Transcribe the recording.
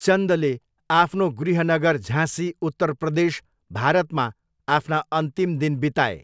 चन्दले आफ्नो गृहनगर झाँसी, उत्तर प्रदेश, भारतमा आफ्ना अन्तिम दिन बिताए।